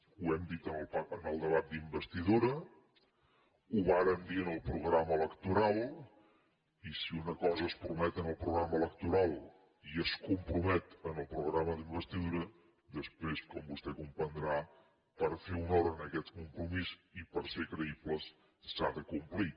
ho hem dit en el debat d’investidura ho vàrem dir en el programa electoral i si una cosa es promet en el programa electoral i es compromet en el pro grama d’investidura després com vostè comprendrà per fer honor a aquest compromís i per ser creïbles s’ha de complir